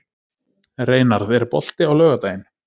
Reynarð, er bolti á laugardaginn?